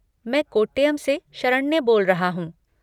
मैं कोट्टयम से शरण्य बोल रहा हूँ।